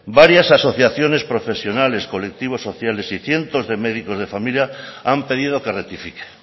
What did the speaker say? varias asociaciones profesionales colectivos sociales y cientos de médicos de familia han pedido que rectifique